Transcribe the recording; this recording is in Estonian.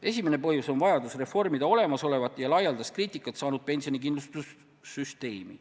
Esimene põhjendus on vajadus reformida olemasolevat, laialdast kriitikat saanud pensionikindlustussüsteemi.